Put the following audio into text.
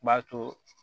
B'a to